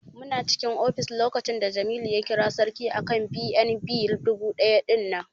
Muna cikin ofis lokacin da Jamilu ya kira Sarki akan BNB dubu ɗaya ɗinnan.